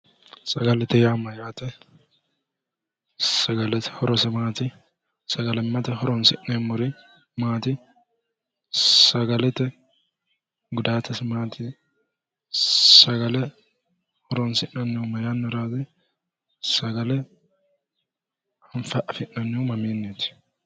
Sagalete yaa mayyaate? Sagalete horose maati? Sagalimmate horonsi'neemmori maati? sagalete gudaatese maati? Sagale horonsi'nannihu ma yannaraati? Sagale afi'nannihu mamiinniiti?